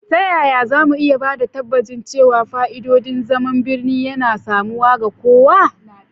Ta yaya za mu iya ba da tabbacin cewa fa'idodin zaman birni yana samuwa ga kowa?